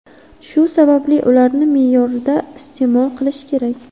Shu sababli ularni me’yorida iste’mol qilish kerak.